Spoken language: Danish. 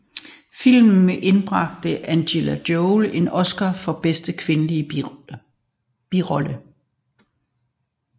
Filmen indbragte Angelina Jolie en Oscar for Bedste Kvindelige Birolle